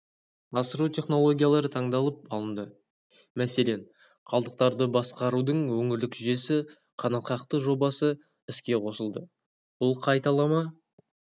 асыру технологиялары таңдалып алынды мәселен қалдықтарды басқарудың өңірлік жүйесі қанатқақты жобасы іске қосылды бұл қайталама